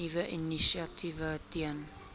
nuwe initiatiewe ten